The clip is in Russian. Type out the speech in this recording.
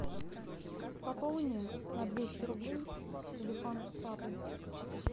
пополни на двести рублей телефон папы